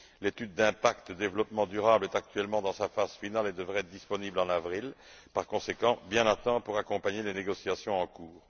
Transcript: L'étude d'impact et de développement durable est actuellement dans sa phase finale et devrait être disponible en avril, par conséquent, bien à temps pour accompagner les négociations en cours.